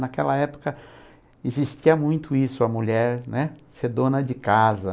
Naquela época existia muito isso, a mulher, né, ser dona de casa.